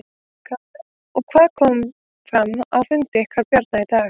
Karen: Og hvað kom fram á fundi ykkar Bjarna í dag?